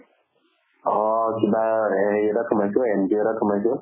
অ কিবা হেৰি এটাত সোমাইছো not এটাত সোমাইছো